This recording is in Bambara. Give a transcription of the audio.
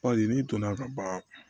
n'i donna ka ban